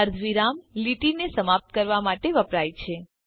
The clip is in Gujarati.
અર્ધવિરામ લીટીને સમાપ્ત કરવા માટે વપરાય છે